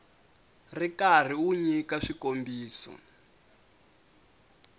ri karhi u nyika swikombiso